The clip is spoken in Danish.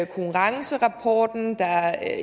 konkurrencerapporten der